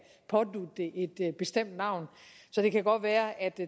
pådutte det et bestemt navn så det kan godt være at